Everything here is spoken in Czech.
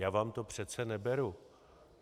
Já vám to přece neberu.